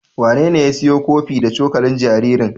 Wanene ya siyo kofi da cokalin jaririn?